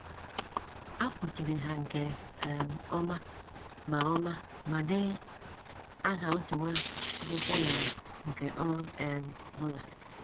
A fụchiri ha nke um ọma ma ọma ma denye aha otu nwa akwụkwọ na nke ọ um bụla.